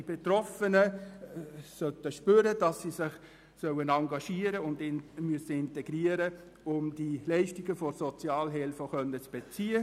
Die Betroffenen sollen zu spüren bekommen, dass sie sich engagieren und integrieren müssen, um die Leistungen der Sozialhilfe zu beziehen.